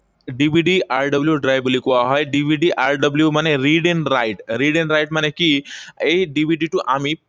DVDRW drive বুলি কোৱা হয়। DVDRW মানে read and write. Read and write মানে কি, এই DVD টো আমি